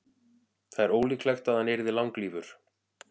það er ólíklegt að hann yrði langlífur